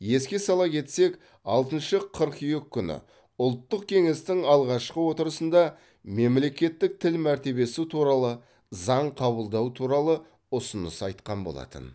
еске сала кетсек алтыншы қыркүйек күні ұлттық кеңестің алғашқы отырысында мемлекеттік тіл мәртебесі туралы заң қабылдау туралы ұсыныс айтқан болатын